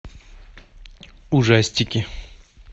ужастики